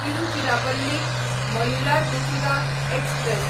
Tiruchirappalli Mayiladuthurai express